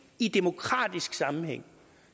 i demokratisk sammenhæng